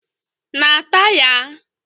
n ata ya?